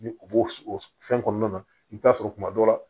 Ni o b'o o fɛn kɔnɔna na i bi taa sɔrɔ tuma dɔ la